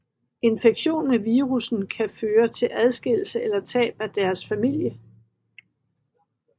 Infektion med virussen kan føre til adskillelse eller tab af deres familie